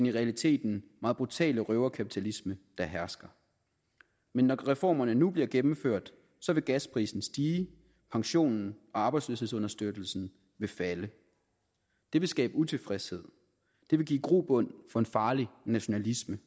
i realiteten meget brutale røverkapitalisme der hersker men når reformerne nu bliver gennemført vil gasprisen stige pensionen og arbejdsløshedsunderstøttelsen vil falde det vil skabe utilfredshed det vil give grobund for en farlig nationalisme